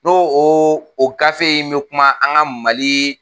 N'o o gafe in be kuma an ka mali